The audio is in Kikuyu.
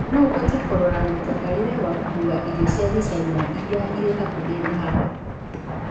unaweza kuangalia huduma ya kubeba chakula cha kichina iliyo karibu na hapa